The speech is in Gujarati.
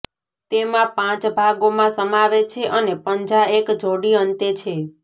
તેમાં પાંચ ભાગોમાં સમાવે છે અને પંજા એક જોડી અંતે છે